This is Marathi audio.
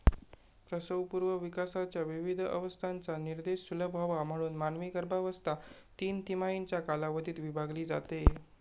प्रसवपूर्व विकासाच्या विविध अवस्थांचा निर्देश सुलभ व्हावा म्हणून मानवी गर्भावस्था तीन तिमाहींच्या कालावधीत विभागली जाते.